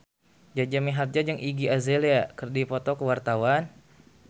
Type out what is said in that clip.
Jaja Mihardja jeung Iggy Azalea keur dipoto ku wartawan